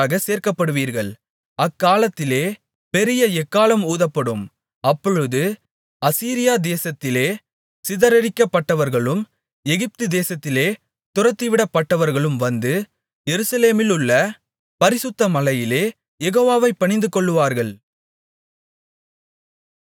அக்காலத்திலே பெரிய எக்காளம் ஊதப்படும் அப்பொழுது அசீரியா தேசத்திலே சிதறடிக்கப்பட்டவர்களும் எகிப்துதேசத்திலே துரத்திவிடப்பட்டவர்களும் வந்து எருசலேமிலுள்ள பரிசுத்த மலையிலே யெகோவாவைப் பணிந்துகொள்ளுவார்கள்